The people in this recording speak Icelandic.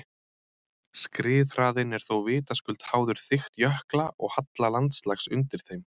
Skriðhraðinn er þó vitaskuld háður þykkt jökla og halla landslags undir þeim.